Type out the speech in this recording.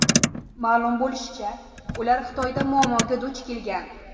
Ma’lum bo‘lishicha, ular Xitoyda muammoga duch kelgan.